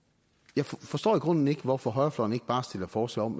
jeg forstår i grunden ikke hvorfor højrefløjen ikke bare stiller forslag om